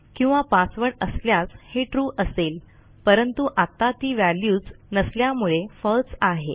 किंवा पासवर्ड असल्यास हे trueअसेल परंतु आत्ता ती व्हॅल्यूच नसल्यामुळे फळसे आहे